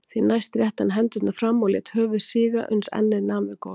Því næst rétti hann hendurnar fram og lét höfuð síga uns ennið nam við gólf.